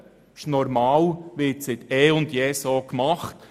Es ist normal und wird seit jeher so gehandhabt.